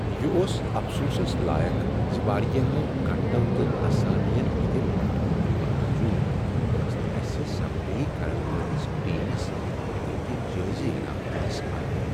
یہ اوس افسوسس لایق زِ وارِیاہو گَنٹَو تہٕ اسامین ہندِ مٹھہٕ مٹھہٕ باوجود ٲسۍ نہٕ اسہِ صفٲیی كرن وٲلِس ٹیمس تِہندِ جٲیز ینامہٕ دِنس اہل ۔